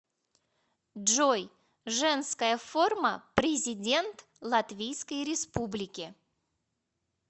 джой женская форма президент латвийской республики